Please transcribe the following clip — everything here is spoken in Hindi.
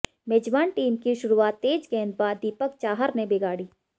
मेजबान टीम की शुरुआत तेज गेंदबाज दीपक चाहर ने बिगाड़ी